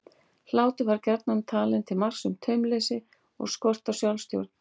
Hlátur var gjarnan talinn til marks um taumleysi og skort á sjálfstjórn.